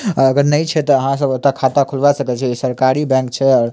अगर ने छै ते आहां सब ओता खाता खोलवा सके छी सरकारी बैंक छे --